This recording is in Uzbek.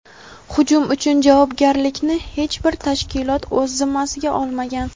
Hujum uchun javobgarlikni hech bir tashkilot o‘z zimmasiga olmagan.